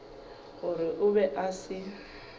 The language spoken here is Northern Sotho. gore o be a se